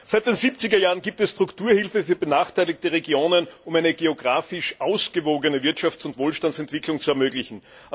Seit den 70er Jahren gibt es Strukturhilfe für benachteiligte Regionen, um eine geographisch ausgewogene Wirtschafts und Wohlstandsentwicklung zu ermöglichen.